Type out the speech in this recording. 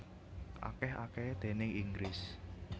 Akèh akèhé déning Inggris